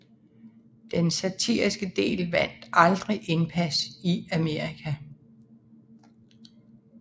Den satiriske del vandt aldrig indpas i Amerika